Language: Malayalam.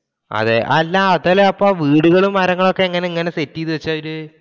അതേ, അല്ല അതല്ല അപ്പൊ ആ വീടുകളും, മരങ്ങളും ഒക്കെ എങ്ങനെയാ ഇങ്ങനെ set ചെയ്തു വച്ചത് അവർ